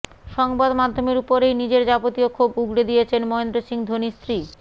সংবাদমাধ্যমের ওপরেই নিজের যাবতীয় ক্ষোভ উগড়ে দিয়েছেন মহেন্দ্র সিং ধোনির স্ত্রী